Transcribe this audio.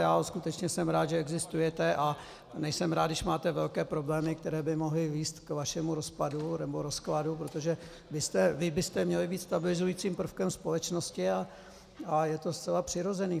Já skutečně jsem rád, že existujete, a nejsem rád, když máte velké problémy, které by mohly vést k vašemu rozpadu nebo rozkladu, protože vy byste měli být stabilizujícím prvkem společnosti a je to zcela přirozené.